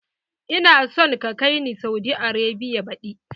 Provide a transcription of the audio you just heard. Ina son ka kai ni Saudi Arabia baɗi!